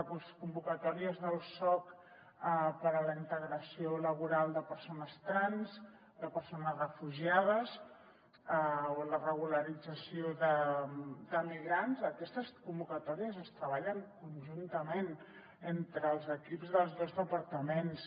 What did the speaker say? les convocatòries del soc per a la integració laboral de persones trans de persones refugiades o la regularització de migrants aquestes convocatòries es treballen conjuntament entre els equips dels dos departaments